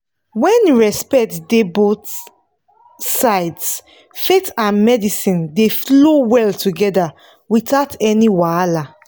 when respect dey both sides faith and medicine dey flow well together without any wahala.